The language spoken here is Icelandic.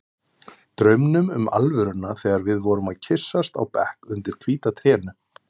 Draumnum um alvöruna þegar við vorum að kyssast á bekk undir hvíta trénu.